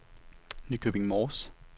Nykøbing Mors